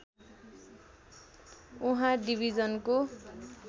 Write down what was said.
उहाँ डिभिजनको